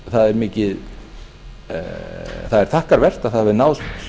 það er þakkarvert að það hafi náðst